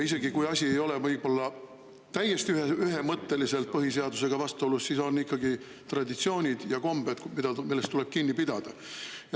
Asi isegi täiesti ühemõtteliselt põhiseadusega vastuolus olla, aga on ikkagi traditsioonid ja kombed, millest tuleb kinni pidada.